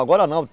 Agora não.